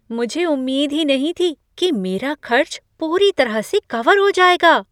मुझे उम्मीद ही नहीं थी कि मेरा खर्च पूरी तरह से कवर हो जाएगा।